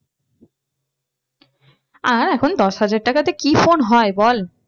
আর এখন দশ হাজার টাকাতে কি phone হয় বল?